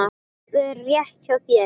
Það er rétt hjá þér.